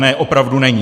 Ne, opravdu není.